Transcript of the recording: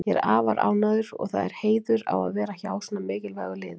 Ég er afar ánægður og það er heiður á að vera hjá svona mikilvægu liði.